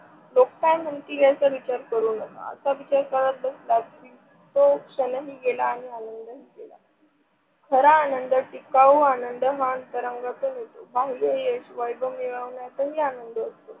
लोक काय म्हणतील याचा विचार करू नका. असा विचार करत बसलात की तो क्षण ही गेला आणि आनंद ही गेला. खरा आनंद टिकाऊ आनंद हा अंतरंगातून येतो बाह्य यश, वैभव मिळवण्यातही आनंद होतो.